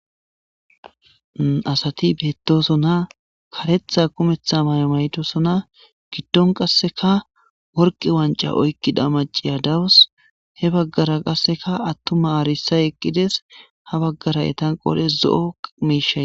Asati beettosona karetha kumetha may7maytosona giddon qasseka worqi wanca oykkida maciya dawus he baggara qasseka attuma aarisay eqqides ha baggara etan qodes zo7o meishay